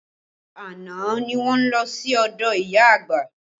Àná ni wọ́n lọ sí ọdọ ìyá àgbà